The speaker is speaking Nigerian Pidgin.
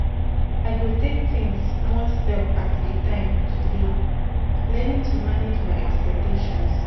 I go take things one step at a time today, learning to manage my expectations.